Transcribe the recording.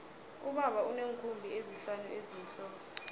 ubaba uneenkhumbi ezihlanu ezimhlophe